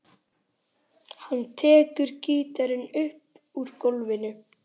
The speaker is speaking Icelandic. Hann tekur gítarinn upp úr gólfinu.